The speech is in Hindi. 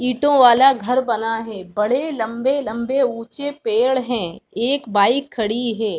ईटो वाला घर बना है बड़े लम्बे-लंबे ऊंचे पेड़ है एक बाइक खड़ी है।